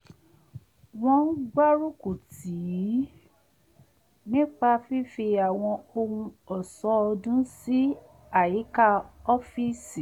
wọ́n gbárúkù tìí nípa fífi àwọn ohun ọ̀ṣọ́ ọdún sí àyíká ọ́fíìsì